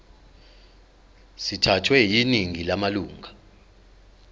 sithathwe yiningi lamalunga